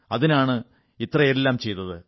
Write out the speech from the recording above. അതിനാണ് ഇത്രയെല്ലാം ചെയ്തത്